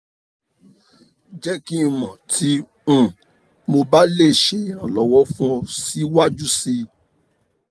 jẹ ki n mọ ti um mo ba le ṣe iranlọwọ fun ọ siwaju sii